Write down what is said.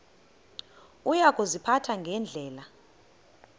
uya kuziphatha ngendlela